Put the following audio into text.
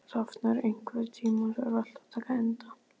Rafnar, einhvern tímann þarf allt að taka enda.